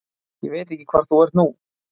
Ég veit ekki hvar þú ert nú.